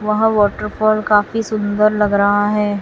वहां वॉटरफॉल काफी सुंदर लग रहा है।